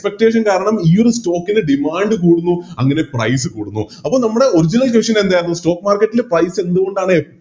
Expectation കാരണം ഈയൊരു Stock ന് Demand കൂടുന്നു അങ്ങനെ Price കൂടുന്നു അപ്പൊ നമ്മള് Original vision എന്തായിരുന്നു Stock market ൽ പൈസ എന്തുകൊണ്ടാണ്